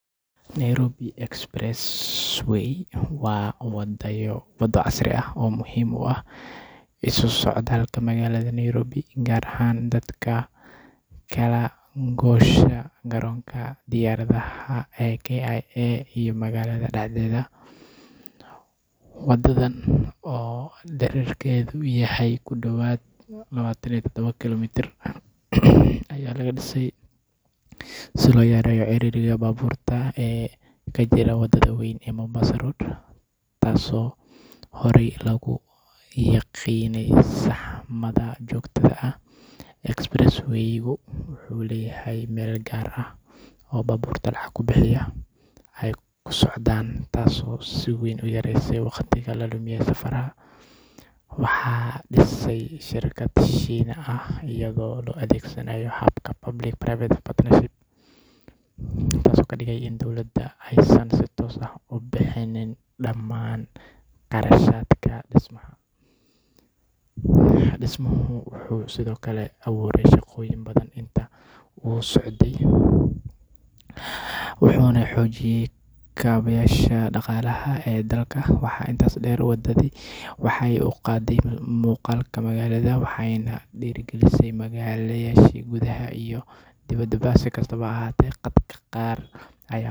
Nairobi Expressway waa waddo casri ah oo muhiim u ah isu socodka magaalada Nairobi, gaar ahaan dadka u kala goosha garoonka diyaaradaha ee JKIA iyo magaalada dhexdeeda. Waddadan oo dhererkeedu yahay ku dhawaad 27 kiiloomitir ayaa laga dhisay si loo yareeyo ciriiriga baabuurta ee ka jira wadada weyn ee Mombasa Road, taasoo horey loogu yaqiinnay saxmadda joogtada ah. Expressway-gu wuxuu leeyahay meel gaar ah oo baabuurta lacag ku bixiya ay ku socdaan, taasoo si weyn u yareysay waqtiga la lumiya safarada. Waxaa dhisay shirkad Shiine ah iyadoo la adeegsanayo habka Public-Private Partnership (PPP), taasoo ka dhigan in dowladda aysan si toos ah u bixinin dhammaan qarashaadka dhismaha. Dhismuhu wuxuu sidoo kale abuuray shaqooyin badan intii uu socday, wuxuuna xoojiyey kaabayaasha dhaqaalaha ee dalka. Waxaa intaas dheer, waddadani waxay kor u qaadday muuqaalka magaalada, waxayna dhiirrigelisay maalgashi gudaha iyo dibaddaba. Si kastaba ha ahaatee, dadka qaar.